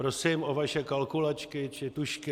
Prosím o vaše kalkulačky či tužky.